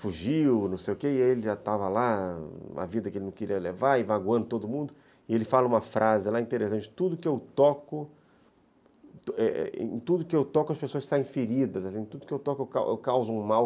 fugiu, não sei o quê, e ele já estava lá, a vida que ele não queria levar, vagando todo mundo, e ele fala uma frase lá interessante, em tudo que eu toco as pessoas saem feridas, em tudo que eu toco eu causo um mal.